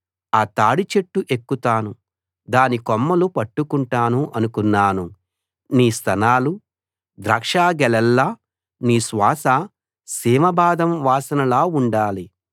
ఆ తాడి చెట్టు ఎక్కుతాను దాని కొమ్మలు పట్టుకుంటాను అనుకున్నాను నీ స్తనాలు ద్రాక్షగెలల్లా నీ శ్వాస సీమ బాదం వాసనలా ఉండాలి